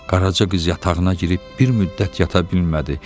Qaraca qız yatağına girib bir müddət yata bilmədi.